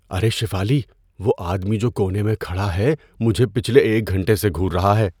ارے شیفالی، وہ آدمی جو کونے میں کھڑا ہے، مجھے پچھلے ایک گھنٹے سے گھور رہا ہے۔